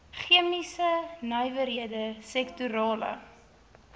chemiese nywerhede sektorale